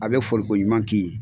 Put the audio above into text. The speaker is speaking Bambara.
A bɛ fɔliko ɲuman k'i ye.